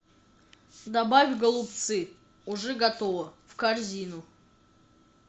добавь голубцы уже готово в корзину